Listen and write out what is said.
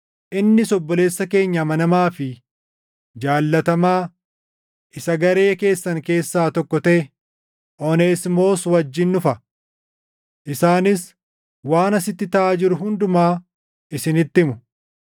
Innis obboleessa keenya amanamaa fi jaallatamaa isa garee keessan keessaa tokko taʼe Oneesimoos wajjin dhufa. Isaanis waan asitti taʼaa jiru hundumaa isinitti himu.